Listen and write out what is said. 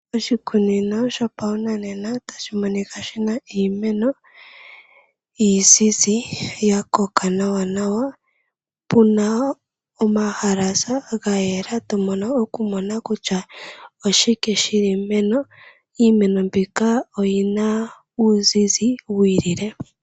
Oshikunino shopashinanena tashi monika shi na iimeno iizizi ya koka nawanawa. Pu na omahalasa ga yela to vulu okumona kutya oshike shi li meni. Iimeno mbika oyi na uuzizi wi ilile.